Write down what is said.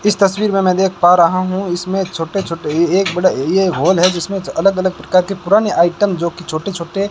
इस तस्वीर में मैं देख पा रही हूं इसमें छोटे छोटे एक बड़ा ये हॉल है जिसमें अलग अलग प्रकार के पुराने आइटम जोकि छोटे छोटे --